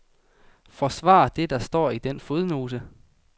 Forsvar det, der står i den fodnote.